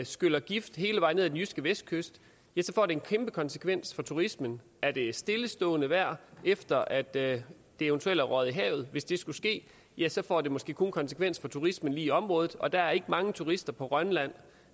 skyller gift hele vejen ned ad den jyske vestkyst ja så får det en kæmpe konsekvens for turismen er det stillestående vejr efter at det eventuelt er røget i havet hvis det skulle ske ja så får det måske kun konsekvenser for turismen lige i området og der er ikke mange turister på rønland